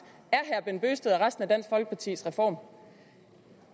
af og resten af dansk folkepartis reform